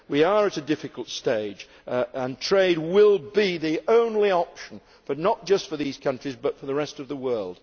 We are at a difficult stage and trade will be the only option and not just for these countries but for the rest of the world.